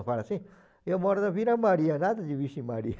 Eu falo assim, eu moro na Vila Maria, nada de vixe Maria.